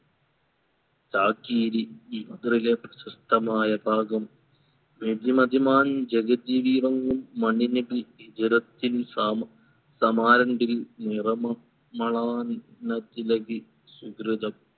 ചാകിരി ഇത്രിലെ പ്രശസ്തമായ ഭാഗം വെടി മതിമാൻ ജഗജീവിഹോ മണ്ണിനടി ജഡത്തിൽ സാമ സമാൻറ്റെന്തിൽ നിറമു മലാന തിലകി സുകൃതം